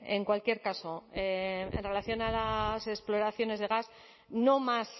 en cualquier caso en relación a las exploraciones de gas no más